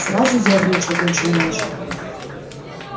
сразу ёрничать начинаешь